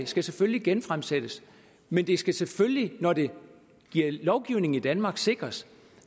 skal selvfølgelig genfremsættes men vi skal selvfølgelig når det bliver lovgivning i danmark sikre